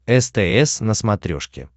стс на смотрешке